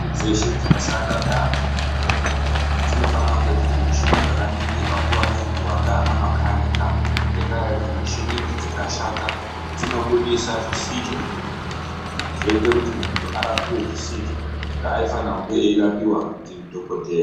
Michini dzeshe dzinoshanda neantu muzvibhedhlera dzinofana kunge dziri muchini dzakaningirwa nguwa ngenguwa ndiana makanika ngendaa yekuti muchini idzi dzikashata dzinobudisa zvisizvo zviri mumuntu zvoite kuti muntu arapiwe zvisizvo zvaaifanira kunge eirapiwa ndidhokodheya.